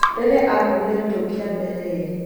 Rĩriĩa akuuire mĩtũngi ya mbere ĩĩrĩ.